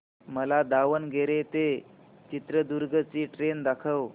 मला दावणगेरे ते चित्रदुर्ग ची ट्रेन दाखव